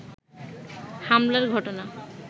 হামলার ঘটনা